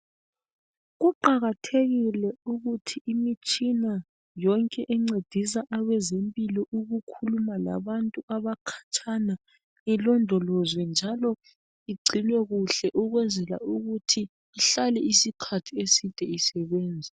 Kuqakathekile ukuthi imitshina yonke encedisa abazempilo ukukhumula labantu abakhatshana ilondolozwe njalo igcinwe kuhle ukwenzela ukuthi ihlale isikhathi eside isebenza